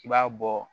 I b'a bɔ